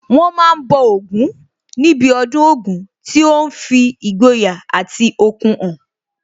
Wọ́n ma ń bọ Ògún níbi ọdún Ògún tí ó ń fi ìgboyà àti okun hàn